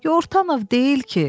Yortanov deyil ki?